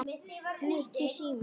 Nikki, síminn